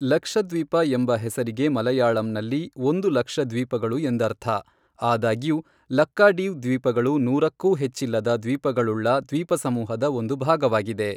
ಲಕ್ಷದ್ವೀಪ ಎಂಬ ಹೆಸರಿಗೆ ಮಲಯಾಳಂನಲ್ಲಿ ಒಂದು ಲಕ್ಷ ದ್ವೀಪಗಳು ಎಂದರ್ಥ, ಆದಾಗ್ಯೂ ಲಕ್ಕಾಡಿವ್ ದ್ವೀಪಗಳು ನೂರಕ್ಕೂ ಹೆಚ್ಚಿಲ್ಲದ ದ್ವೀಪಗಳುಳ್ಳ ದ್ವೀಪಸಮೂಹದ ಒಂದು ಭಾಗವಾಗಿದೆ.